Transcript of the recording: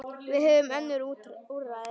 Við höfum önnur úrræði.